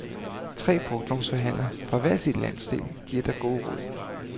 Tre brugtvognsforhandlere fra hver sin landsdel giver dig gode råd.